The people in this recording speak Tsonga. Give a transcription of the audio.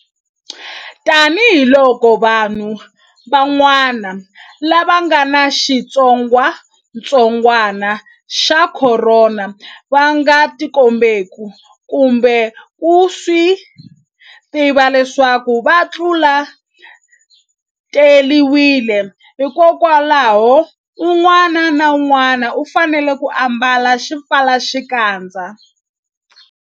Tanihiloko vanhu van'wa-na lava nga ni xitsongwatsongwana xa Khorona va nga tikombeki kumbe ku swi tiva leswaku va tlule-tiwile, hikwalaho un'wana na un'wana u fanele ku ambala xipfalaxikandza.